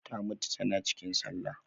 Ta mutu tana cikin sallah